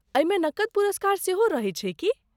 एहिमे नकद पुरस्कार सेहो रहैत छै की?